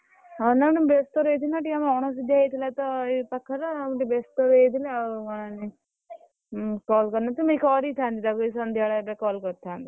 ହଁ ନା ନା ମୁଁ ଟିକେ ବ୍ୟସ୍ତ ରହିଯାଇଥିଲି ନା ଆମର ଟିକେ ଅଣଶୁଧିଆ ହେଇଯାଇଥିଲାତ ଏଇ ପାଖରେ ଆଉ ଟିକେ ବେସ୍ତ ରହିଯାଇଥିଲି ଆଉ ମନେ ନାହି call କରିନି ମୁଁ କରିଥାନ୍ତି ତାକୁ ଏଇ ସନ୍ଧ୍ୟା ବେଳେ ଏବେ call କରିଥାନ୍ତି।